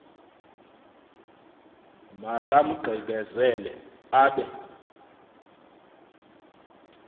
maka mgqibezele abe